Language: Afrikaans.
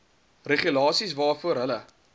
regulasies waarvoor hulle